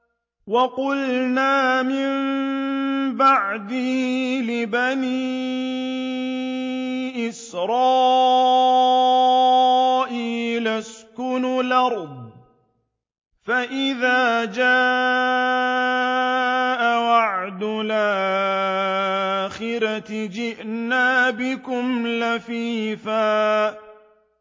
وَقُلْنَا مِن بَعْدِهِ لِبَنِي إِسْرَائِيلَ اسْكُنُوا الْأَرْضَ فَإِذَا جَاءَ وَعْدُ الْآخِرَةِ جِئْنَا بِكُمْ لَفِيفًا